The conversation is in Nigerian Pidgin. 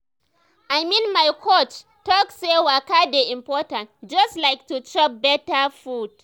i mean my coach talk say waka dey important just like to chop better food.